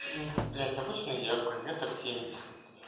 блять обычная девка метр семьдесят